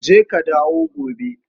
Je ka dawo gobe.